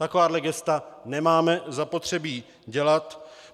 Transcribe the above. Takováhle gesta nemáme zapotřebí dělat.